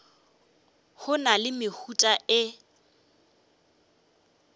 go na le mehuta e